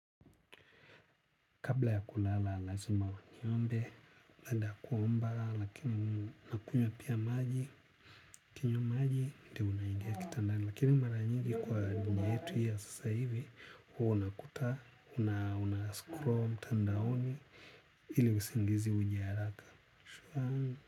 Kabla ya kulala, lazima niombe, baada ya kuomba lakini nakunywa pia maji, nikinywa maji, ndio naingia kitandani, lakini mara nyingi kwa njia yetu ya sasa hivi, hua unakuta, una scroll mtandaoni ili usingizi uje haraka.